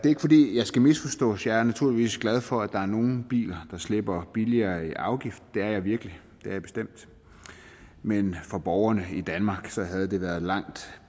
ikke fordi jeg skal misforstås jeg er naturligvis glad for at der er nogle biler der slipper billigere i afgift det er jeg virkelig det er jeg bestemt men for borgerne i danmark havde det været langt